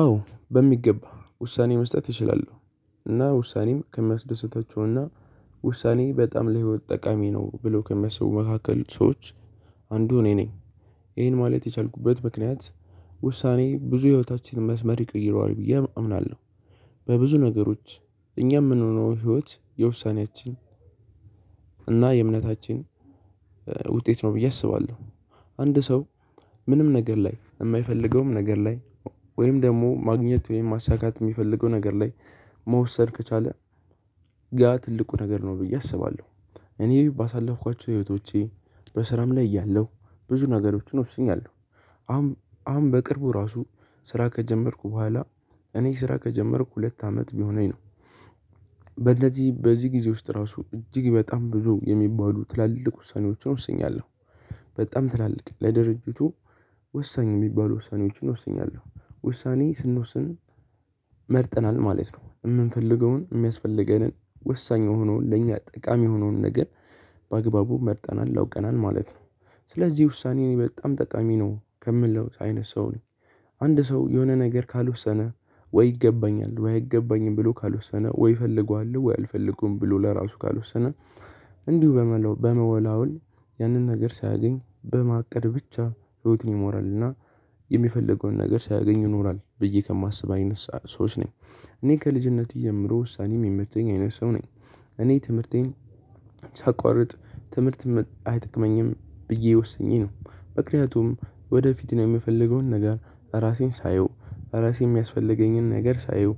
አዎ በሚገባ ውሳኔ መስጠት እችላለሁ። እና ውሳኔም ከሚያስደስተችውና ውሳኔ በጣም ለህይወት ጠቃሚ ነው ብለው ከሚያስቡ መካከል ሰዎች አንዱ እኔ ነኝ። ይሄን ማለት የቻልኩበት ምክንያት ውሳኔ ብዙ ህይወታችን መስመር ይቀይረዋል ብዬ አምናለሁ። በብዙ ነገሮች እኛ የምንሆነው ህይወት የውሳኔያችን እና የእምነታችን ውጤት ነው ብዬ አስባለሁ። አንድ ሰው ምንም ነገር ላይ የማይፈልገውም ነገር ላይ ወይም ደግሞ ማግኘት ወይም ማሳካት የሚፈልገው ነገር ላይ መወሰን ከቻለ ጋር ትልቁ ነገር ነው ብዬ አስባለሁ። እኔ ባሳለፍኳቸው ህይወቶቼ በስራም ላይ እያለሁ ብዙ ነገሮችን ወስኛለሁ። አሁን አሁን በቅርቡ ራሱ ስራ ከጀመርኩ በኋላ እኔ ስራ ከጀመርኩ ሁለት አመት ቢሆነኝ ነው። በለዚህ በዚህ ጊዜ ውስጥ ራሱ እጅግ በጣም ብዙ የሚባሉ ትላልቅ ውሳኔዎችን ወስኛለሁ። በጣም ትላልቅ ለድርጅቱ ወሳኝ የሚባሉ ውሳኔዎችን ወስኛለሁ። ውሳኔ ስንወስን መርጠናል ማለት ነው የምንፈልገውን የሚያስፈልገንን ወሳኝ የሆነውን ለእኛ ጠቃሚ የሆነውን ነገር በአግባቡ መርጠናል አውቀናል ማለት ነው። ስለዚህ ውሳኔ እኔ በጣም ጠቃሚ ነው ከምለው አይነት ሰው ነው። አንድ ሰው የሆነ ነገር ካልወሰነ ወይ ይገባኛል ወይ አይገባኝም ብሎ ካልወሰነ ወይ ይፈልገዋል ወይ አልፈልገውም ብሎ ለራሱ ካልወሰነ። እንዲሁ በመወላወል ያንን ነገር ሳያገኝ በማቀድ ብቻ ህይወትን ሞራል እና የሚፈልገውን ነገር ሳያገኙ ይኖሯል ብዬ ከማስብ አይነት ሰዎች ነኝ። እኔ ከልጅነቴ ጀምሮ ውሳኔም የምትተኝ አይነት ሰው ነኝ። እኔ ትምህርቴን ሳቋርጥ ትምህርት አይጠቅመኝም ብዬ ወስኜ ነው። ምክንያቱም ወደፊት ነው የምፈልገውን ነገር ራሴን ሳየው ራሴን የሚያስፈልገኝን ነገር ሳየው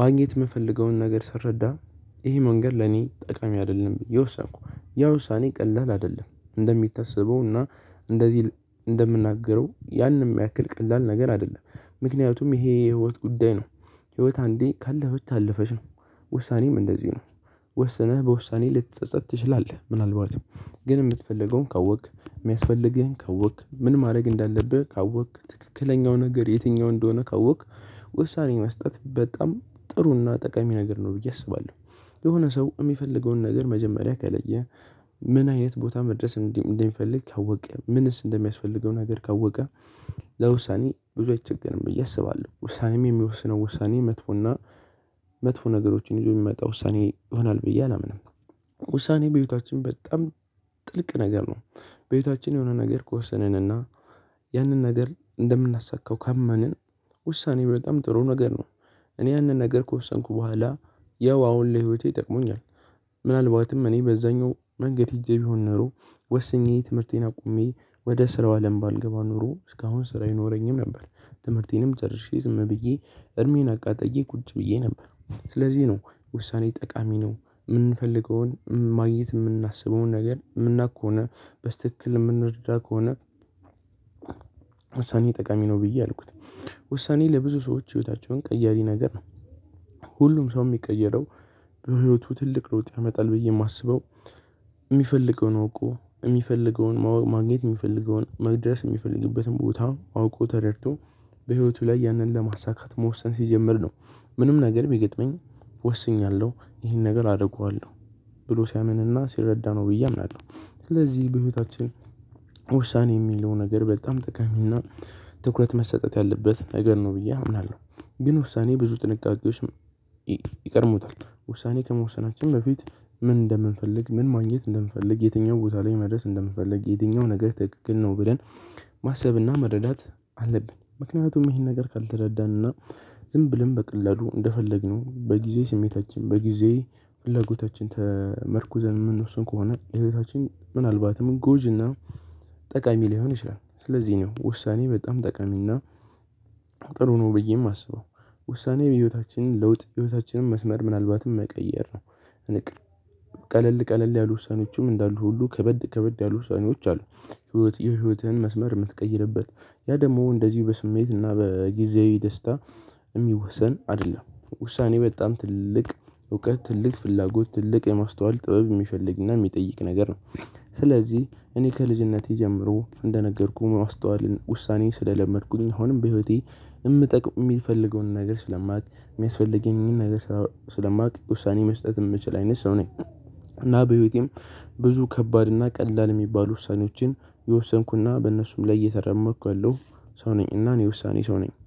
ማግኘት የምፈልገውን ነገር ስረዳ። ይሄ መንገድ ለኔ ጠቃሚ አይደለም የወሰንኩ። ያ ውሳኔ ቀላል አይደለም እንደሚታሰበው እና እንደዚህ እንደምናገረው ያንን ያክል ቀላል ነገር አይደለም። ምክንያቱም ይሄ የህይወት ጉዳይ ነው። ህይወት አንዴ ካለፈች አለፈች ነው። ውሳኔም እንደዚህ ነው። ወስነህ በውሳኔ ልትጸጸት ትችላለህ ምናልባት ግን ምትፈልገውን ካወቅክ የሚያስፈልን ካወቅክ ምን ማድረግ እንዳለብህ ካወቅክ ትክክለኛው ነገር የትኛው እንደሆነ ካወቅክ። ውሳኔ መስጠት በጣም ጥሩና ጠቃሚ ነገር ነው ብዬ አስባለሁ። የሆነ ሰው የሚፈልገውን ነገር መጀመሪያ ከለየ። ምን አይነት ቦታ መድረስ እንዲህ እንዲህ እንዲህ እንዲህ ካወቀ ምንስ እንደሚያስፈልገው ነገር ካወቀ። ለውሳኔ ብዙ አይቸገርም ብዬ አስባለሁ ውሳኔም የሚወስነው ውሳኔ መጥፎና መጥፎ ነገሮችን ይዞ የሚመጣ ውሳኔ ይሆናል ብዬ አላምንም። ውሳኔ በህይወታችን በጣም ጥልቅ ነገር ነው። ቤታችን የሆነ ነገር ከወሰንንና ያንን ነገር እንደምናሳካው ካመንን ውሳኔው በጣም ጥሩ ነገር ነው። እኔ ያንን ነገር ከወሰንኩ በኋላ ያው አሁን ለህይወቴ ይጠቅሙኛል። ምናልባትም እኔ በዛኛው መንገድ ሄጄ ቢሆን ኖሮ ወስኜ ትምህርቴን አቁሜ ወደ ስራው አለም ባልገባ ኖሮ እስካሁን ስራ አይኖረኝም ነበር። ትምህርቴንም ጨርሼ ዝም ብዬ እድሜን አቃጠዬ ቁጭ ብዬ ነበር። ስለዚህ ነው ውሳኔ ጠቃሚ ነው የምንፈልገውን ማግኘት የምናስበውን ነገር የምናውቅ ከሆነ በስትክክል የምንረዳ ከሆነ። ውሳኔ ጠቃሚ ነው ብዬ አልኩት። ውሳኔ ለብዙ ሰዎች ህይወታቸውን ቀያሪ ነገር ነው። ሁሉም ሰው የሚቀየረው በህይወቱ ትልቅ ለውጥ ያመጣል ብዬ የማስበው የሚፈልገውን አውቆ የሚፈልገውን ማግኘት የሚፈልገውን መድረስ የሚፈልግበትን ቦታ አውቆ ተረድቶ በህይወቱ ላይ ያንን ለማሳካት መወሰን ሲጀምር ነው። ምንም ነገር ቢገጥመኝ ወስኛለሁ ይሄን ነገር አደርገዋለሁ ብሎ ሲያምንና ሲረዳ ነው ብዬ አምናለሁ። ስለዚህ በህይወታችን ውሳኔ የሚለው ነገር በጣም ጠቃሚና ትኩረት መሰጠት ያለበት ነገር ነው ብዬ አምናለሁ። ግን ውሳኔ ብዙ ጥንቃቄዎች ይቀድሙታል። ውሳኔ ከመወሰናችን በፊት ምን እንደምንፈልግ ምን ማግኘት እንደምፈልግ የትኛው ቦታ ላይ መድረስ እንደምፈልግ የትኛው ነገር ትክክል ነው ብለን። ማሰብና መረዳት አለብን። ምክንያቱም ይሄን ነገር ካልተረዳንና ዝም ብለን በቀላሉ እንደፈለግነው በጊዜ ስሜታችን በጊዜ ፍላጎታችን ተመርኩዘን የምንወስን ከሆነ ህይወታችን ምናልባትም ጎጂና ጠቃሚ ሊሆን ይችላል። ስለዚህ ነው ውሳኔ በጣም ጠቃሚና ጥሩ ነው ብዬ የማስበው። ውሳኔ ህይወታችንን ለውጥ ህይወታችንን መስመር ምናልባትም መቀየር ነው። ቀለል ቀለል ያሉ ውሳኔዎች እንዳሉ ሁሉ ከበድ ከበድ ያሉ ውሳኔዎች አሉ። ህይወት የህይወትህን መስመር የምትቀይርበት ያ ደግሞ እንደዚህ በስሜት እና በጊዜው ደስታ የሚወሰን አይደለም። ውሳኔ በጣም ትልቅ እውቀት ትልቅ ፍላጎት ትልቅ የማስተዋል ጥበብ የሚፈልግና የሚጠይቅ ነገር ነው። ስለዚህ እኔ ከልጅነቴ ጀምሮ እንደነገርኩህ ማስተዋልን ውሳኔ ስለለመድኩኝ አሁንም በህይወቴ የምጠቅም የሚፈልገውን ነገር ስለማውቅ የሚያስፈልገኝን ነገር ስለማውቅ ውሳኔ መስጠት የምችል አይነት ሰው ነኝ። እና በህይወቴም ብዙ ከባድና ቀላል የሚባሉ ውሳኔዎችን የወሰንኩና በእነሱም ላይ እየተራመድኩ ያለው ሰው ነኝ። እና እኔ ውሳኔ ሰው ነኝ